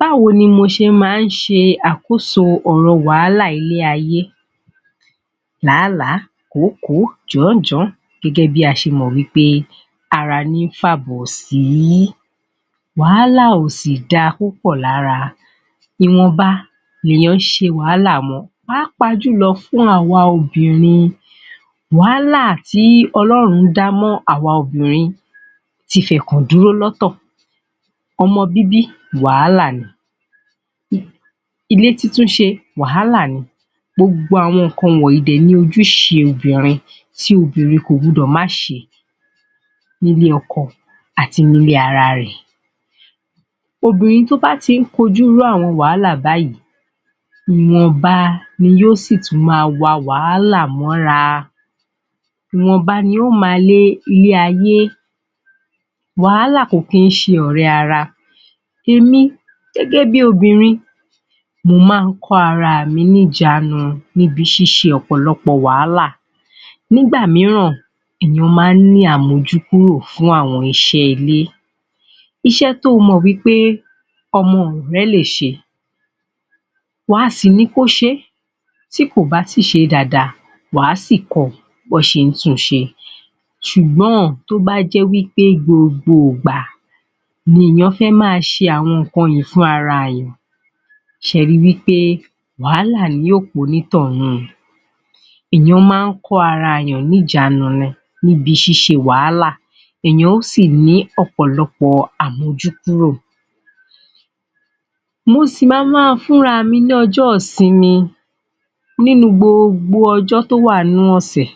Báwo ni mo ṣe máa ń ṣe àkóso òrọ̀ wàhálà ilẹ́ ayé làálàá, kòókòó, jàn-án jàn-án. Gẹ́gẹ́ bí a ṣe mọ̀ wí pé ara ní ń fàbọ̀ sí, wàhálà ò sì da púpọ̀ lára, ìwọ̀nba ni ènìyàn ń ṣe wàhálà mọ, ppàápàá jùlọ fún àwa obìnrin, wàhálà tí Ọlọ́run dá mọ́ àwa òbínrin ti fẹ̀kàn dúró lọ́tọ̀, ọmọ bíbí wàhálà ni, ilé títún ṣe wàhálà ni, gbogbo àwọn nǹkan wọ̀nyí dẹ̀ ni ojúṣe obìnrin, tí obìnrin kò gbọ́dọ̀ má ṣe nílé ọkọ àti nílé ara rẹ̀. Obìnrin tí ó bá tí ń kojú irú àwọn wàhálà báyìí,, ìwọ̀nba ni yóò sì tún máa wa wàhálà mọ́ra, ìwọ̀nba ni yóò máa lé ilé ayé, wàhálà kò kí ń ṣe ọ̀rẹ́ ara. Èmi gẹ́gẹ́ bí i obìnrin mo máa ń kó ara mi ní ìjánui ní ibi síṣe ọ̀pọ̀lọpọ̀ wàhálà. Nígbá mìíràn ènìyàn máa ń ní àmojúkúrò fún àwọn iṣẹ́ ilé, iṣẹ́ tí o mọ̀ wí pé àwọn ọmọ rẹ lè ṣe, wà á sì ní kí ó ṣe é, tí kò bá sì ṣe é dáadáa wà á sì kọ bí wọ́n ṣe ń tun ṣe, ṣùgbọ́n tó bá jẹ́ wí pé gbogbo ìgbà ni ènìyàn fẹ́ máa ṣe àwọn nǹkan yí fúnra ènìyàn ṣé ẹ ri wí pé wàhálà ni yóò pa onítọ̀hún. Ènìyàn máa ń kó ara ènìyàn ní ìjánu ni níbi ṣíṣe wàhálà ènìyàn ó sì ní ọ̀pọ̀lọpọ̀ àmojúkúrò. Mo sì ma máa ń fún ara mi ní ọjọ́ ìsinmi nínú gbogbo ọjọ́ tí ó wà nínú ọ̀sẹ̀,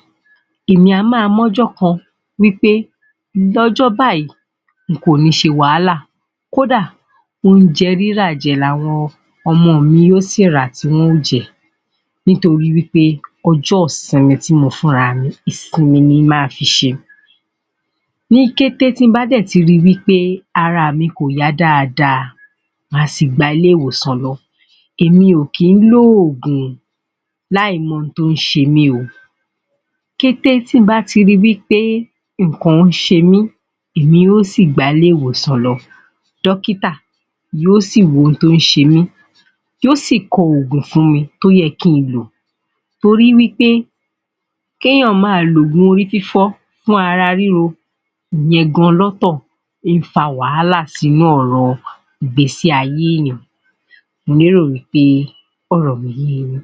èmi á máa mú ọjọ́ kan wí pé lọ́jọ́ báyìí, nkò ní ṣe wàhálà kódà oúnjẹ rírà jẹ ni àwọn ọmọ mi yóò sì rà tí wọn ó jẹ nítorí ọjọ́ ìsinmi tí mo fún ara mi ìsinmi ni màá fi ṣe. Ní kété tí mo bá dẹ̀ ti ri wí pé ara mi ò yá dáadáa, màá sì gba ilé ìwòsàn lọ, èmi ò kìí lòògùn láì mọ ohun tó ń ṣe mí o, ní kété tí mo bá ti ri wípé nǹkan ṣe mí, èmi ó ò sì gba ilé ìwòsàn lọ, dọ́kítà yóò sì wo ohun tó ń ṣe mí yóò sì kọ oògùn fún mi tó yẹ kí ń lò, torí wí pé kí ènìyàn máa lòògùn orí fífọ́ fún ara ríro ìyẹn lọ́tọ̀ gan ń fa wàhálà sínú ọ̀rọ̀ ìgbésí ayé ènìyàn. Mo lérò wí pé ọ̀rọ̀ mi yé e yín.